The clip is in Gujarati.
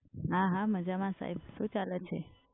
હા હા મજામાં સાહેબ શું ચાલે છે?